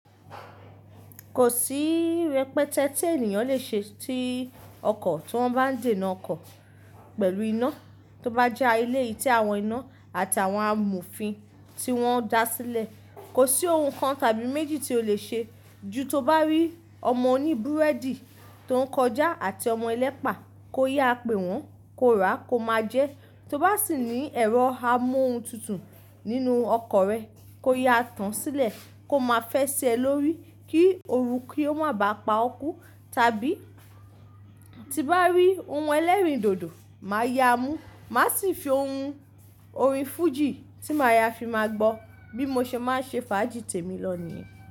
Kò sí rẹpẹtẹ tí ènìyàn lè ṣe tí ọkọ̀ tí wọ́n bá ń dèna ọkọ̀ pẹ̀lú iná tó bá jà ilé ti àwọn iná àti àwọn amófin tí wọ́n da sílẹ̀. Kò sí ohun kan tàbí méjì tí o lè ṣe. Ju tó bá rí ọmọ oní búrẹ́dì tó ń kọjá àti ọmọ ẹlẹ́pà kó yáa pè wọ́n, kó rà á kó máa jẹ. Tó bá sì ní ẹ̀rọ amóhuntutù nínú ọkọ́ rẹ kó yá a tán sílẹ̀ kó máa fẹsẹ̀ lórí kí òru kí ó má bá a pa ọ́ kú. Tàbí tí bá rí ohun ẹlẹ́rìndòdò, màá yá a mú. Màá sì fi ohun orin fújì tí màá yá fi máa gbọ́ bí mo ṣe máa ń ṣe fàájì tèmi lọ ní.